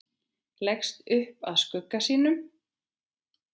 Leggst upp að skugga sínum.